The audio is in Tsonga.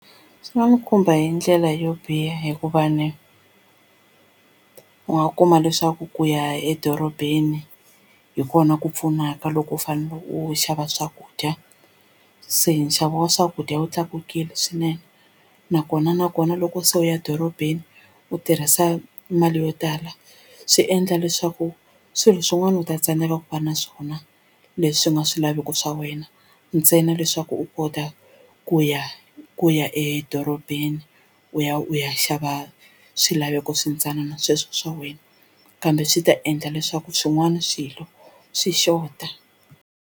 Swi nga n'wi khumba hi ndlela yo biha hikuva ni u nga kuma leswaku ku ya edorobeni hi kona ku pfunaka loko u fanele u xava swakudya u se nxavo wa swakudya wu tlakukile swinene nakona nakona loko se u ya dorobeni u tirhisa mali yo tala swi endla leswaku swilo swin'wana u ta tsandzeka ku va na swona leswi ku nga swilaveko swa wena ntsena leswaku u kota ku ya ku ya edorobeni u ya u ya xava swilaveko swintsanana sweswo swa wena kambe swi ta endla leswaku swin'wana swilo swi xota.